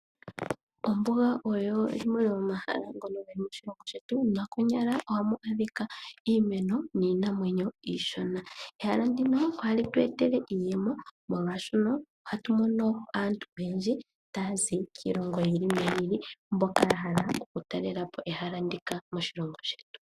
Ombuga oyo yimwe yomomahala gomoshilongo shetu nokonyala ohamu adhika iimeno niinamwenyo iishona. Ehala ndino ohali tu etele iiyemo molwaashoka ohatu mono aantu oyendji taya zi kiilongo yi ili noyi ili mboka ya hala oku talela po ehala ndika moshilongo shetu.